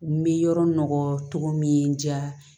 N bɛ yɔrɔ cogo min diya